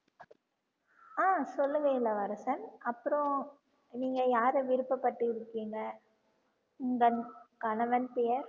ஆஹ் சொல்லுங்க இளவரசன் அப்புறம் நீங்க யாரை விருப்பபட்டு இருக்கீங்க உந்தன் கணவன் பெயர்